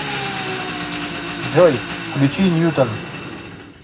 джой включи ньютон